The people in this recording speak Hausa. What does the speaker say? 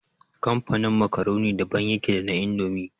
Kamfanin makaroni daban yake da na indomi